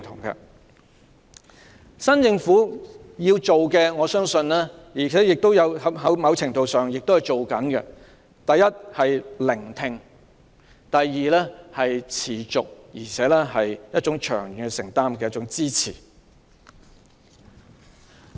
我相信政府要做的事——在某程度上，工作已在進行中——第一，是聆聽；及第二，是持續及有長遠承擔的支持。